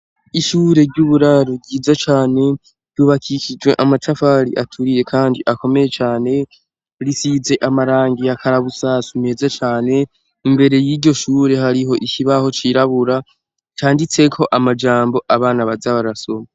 Ishyure ry'uburaro ryiza cane. Ryubakishijwe amatafari aturiye kandi akomeye cane, risize amarangi ya karabusasu meza cane; imbere y'iryo shure hariho ishibaho cirabura canditse ko amajambo abana baza barasoma.